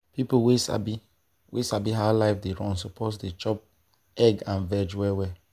people wey sabi wey sabi how life dey run suppose dey chop egg and veg well well.